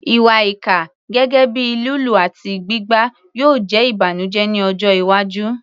Ìwà ìkà, gẹ́gẹ́ bíi lílù àti gbígbá, yóò jẹ́ ìbànújẹ́ ní ọjọ́ iwájú.